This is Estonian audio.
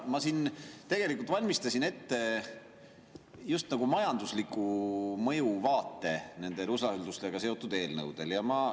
Ma siin tegelikult valmistasin ette just nagu majandusliku mõju vaate nendele usaldusega seotud eelnõudele.